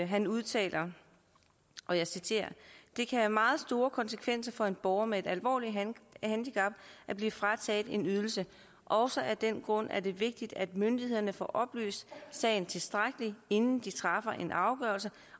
han udtaler og jeg citerer det kan have meget store konsekvenser for en borger med et alvorligt handicap at blive frataget en ydelse også af den grund er det vigtigt at myndighederne får oplyst sagen tilstrækkeligt inden de træffer en afgørelse